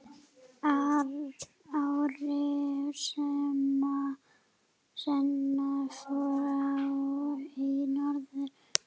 Ári seinna fór ég norður.